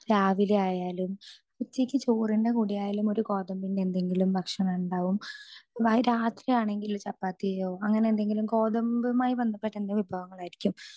speaker 2 രാവിലെ ആയാലും ഉച്ചക്ക് ചോറിന്റെ കൂടെ ആയാലും ഒരു ഗോതമ്പിന്റെ എന്തെങ്കിലും ഭക്ഷണം ഉണ്ടാകും രാത്രി ആണെങ്കിൽ എന്തെങ്കിലും ചപ്പാത്തിയോ അങ്ങനെ എന്തെങ്കിലും ഗോതമ്പുമായി ബന്ധപ്പെട്ട എന്തെങ്കിലും വിഭവങ്ങൾ ആയിരിക്കും